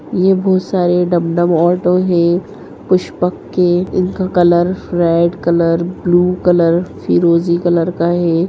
ये बहुत सारे डम-डम ऑटो है कुछ पक्के इनका colour red colour blue colour फ़िरोजी कलर का है।